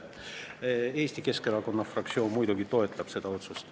Eesti Keskerakonna fraktsioon muidugi toetab seda otsust.